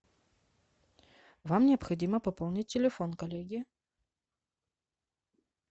вам необходимо пополнить телефон коллеги